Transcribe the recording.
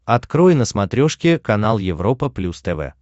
открой на смотрешке канал европа плюс тв